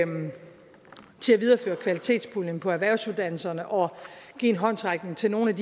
videreføre kvalitetspuljen på erhvervsuddannelserne og give en håndsrækning til nogle af